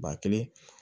Ba kelen